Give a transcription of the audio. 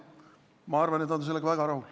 Ma arvan, et nad on sellega väga rahul.